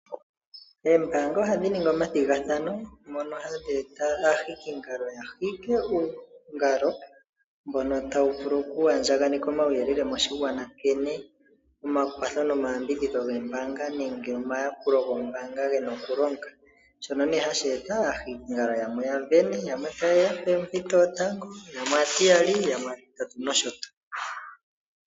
Oombaanga ohadhi ningi omathigathano mono hadhi eta aahikingalo ya hike uungalo mbono tawu vulu oku andjaganeka omauyelele moshigwana nkene omakwatho nomayambidhidho gombaanga nenge omayakulo gombaanga gena okulonga. Shono nee hashi eta aahikingalo yamwe ya vene yamwe taye ya poompito yotango, yamwe aatiyali yamwe aatitatu nosho tuu.